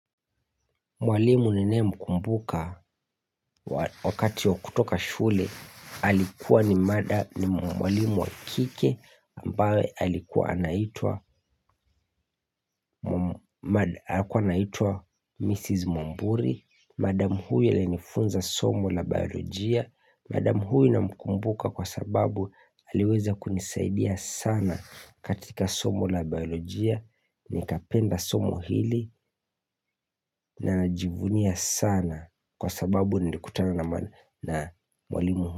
Mwalimu ninaye mkumbuka wakati wakutoka shule, alikuwa ni mwalimu wakike ambaye alikuwa anaitua Mrs. Mwamburi, madam huyu alinifunza somo la biolojia, Madam huyu namkumbuka kwa sababu aliweza kunisaidia sana katika somo la biolojia nikapenda somo hili na najivunia sana kwa sababu nilikutana na mwalimu.